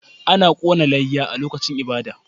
Ana kona layya a lokacin ibada